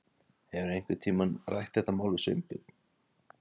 Hefurðu einhvern tíma rætt þetta mál við Sveinbjörn?